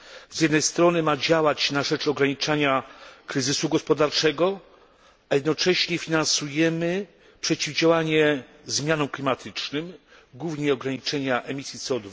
Z jednej strony ma działać na rzecz ograniczania kryzysu gospodarczego, a jednocześnie finansujemy przeciwdziałanie zmianom klimatycznym, głównie ograniczenie emisji CO